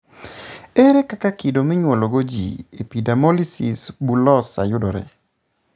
Ere kaka kido monyuolwago ji epidermolysis bullosa yudore?